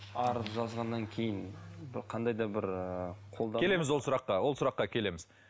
арыз жазғаннан кейін бір қандай да бір келеміз ол сұраққа ол сұраққа келеміз